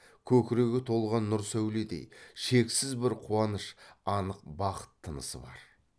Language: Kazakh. көкірегі толған нұр сәуледей шексіз бір қуаныш анық бақыт тынысы бар